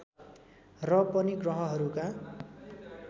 र पनि ग्रहहरूका